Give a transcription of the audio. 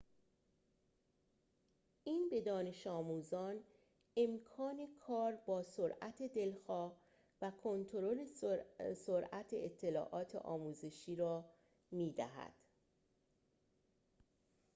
این به دانش‌آموزان امکان کار با سرعت دلخواه و کنترل سرعت اطلاعات آموزشی را می‌دهد